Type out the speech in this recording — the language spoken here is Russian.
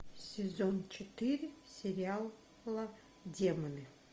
сезон четыре сериала демоны